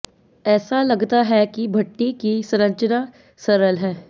ऐसा लगता है कि भट्ठी की संरचना सरल है